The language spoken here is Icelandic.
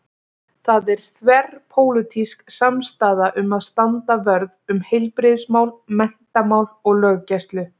Það er þverpólitísk samstaða um að standa vörð um heilbrigðismál, menntamál og löggæslu.